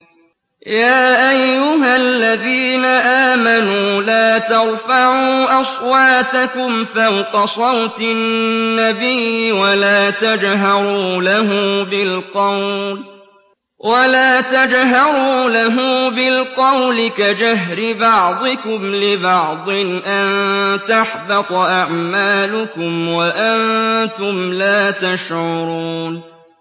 يَا أَيُّهَا الَّذِينَ آمَنُوا لَا تَرْفَعُوا أَصْوَاتَكُمْ فَوْقَ صَوْتِ النَّبِيِّ وَلَا تَجْهَرُوا لَهُ بِالْقَوْلِ كَجَهْرِ بَعْضِكُمْ لِبَعْضٍ أَن تَحْبَطَ أَعْمَالُكُمْ وَأَنتُمْ لَا تَشْعُرُونَ